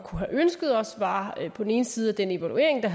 have ønsket os var på den ene side at den evaluering der